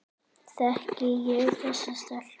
Þekki ég þessa stelpu?